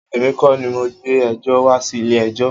Èmi kọ́ ni mo gbé ẹjọ́ wá sí ilé ẹjọ́.